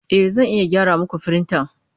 E, Zan iya gyara muku firintan.